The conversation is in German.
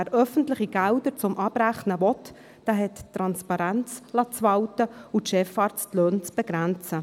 Wer öffentliche Gelder zum Abrechnen will, der hat Transparenz walten zu lassen und die Chefarztlöhne zu begrenzen.